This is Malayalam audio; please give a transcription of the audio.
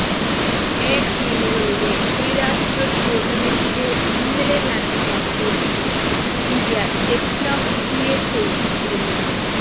എ ടീമുകളുടെ ത്രിരാഷ്ട്ര ടൂര്ണമെന്റില് ഇന്നലെ നടന്ന മത്സരത്തില് ഇന്ത്യ ദക്ഷിണാഫ്രിക്കയെ തോല്പിച്ചിരുന്നു